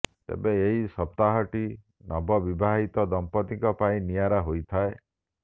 ତେବେ ଏହି ସପ୍ତାହଟି ନବ ବିବାହିତ ଦମ୍ପତିଙ୍କ ପାଇଁ ନିଆରା ହୋଇଥାଏ